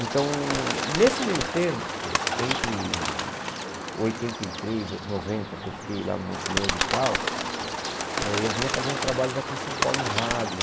Então, nesse meio tempo, entre oitenta e três e noventa, que eu fiquei lá no Montenegro e tal, eh eu vinha fazendo trabalhos aqui em São Paulo em rádio.